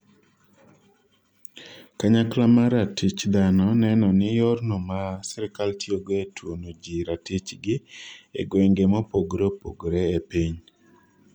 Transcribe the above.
kanyakla mar ratich dhano nenoni yorno ma sirikal tiyogo e tuono jii ratich gi e gwenge mopogore opogore e piny